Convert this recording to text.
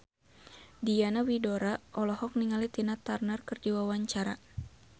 Diana Widoera olohok ningali Tina Turner keur diwawancara